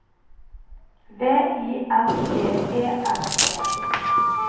V I N G E N E